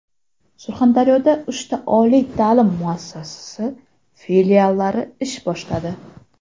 Surxondaryoda uchta oliy ta’lim muassasasi filiallari ish boshladi.